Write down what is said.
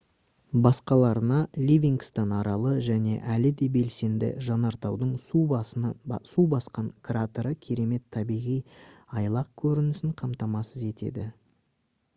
басқаларына ливингстон аралы және әлі де белсенді жанартаудың су басқан кратері керемет табиғи айлақ көрінісін қамтамасыз етеді